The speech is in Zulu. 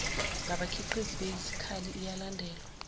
ngabakhiqizi besikhali iyalandelwa